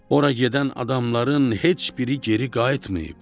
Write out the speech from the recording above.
Ora gedən adamların heç biri geri qayıtmayıb.